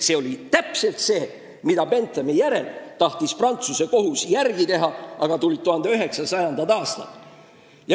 See oli täpselt see, mida Prantsuse kohus tahtis Benthami eeskujul järele teha, aga tulid 1900. aastad.